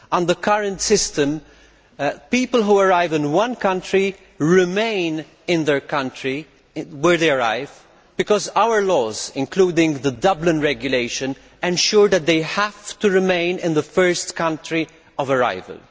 On the current system, people who arrive in one country remain in the country where they arrive because our laws, including the Dublin Regulation, ensure that they have to remain in the first country of arrival.